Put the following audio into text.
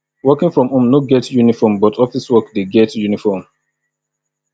working from home no get uniform but office work de get uniform